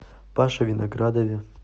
паше виноградове